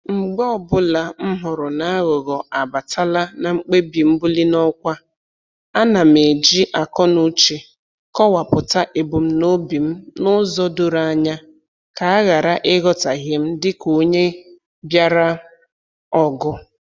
Mgbe ọbụla m hụrụ n'aghụghọ abatala na mkpebi mbuli n'ọkwa, ana m eji akọnuche kọwapụta ebumnobi m n'ụzọ doro anya ka a ghara ịghọtahie m dịka onye bịara ọgụ